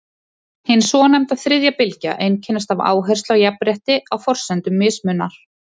hin svonefnda „þriðja bylgja“ einkennist af áherslu á jafnrétti á forsendum mismunar